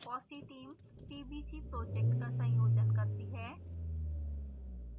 fossee team tbc project का संयोजन करती है